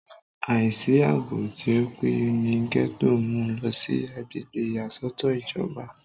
àìsí àbò tí ó péye ní gẹ́tò mú u lọ sí agbègbè ìyàsọ́tọ̀ ìjọba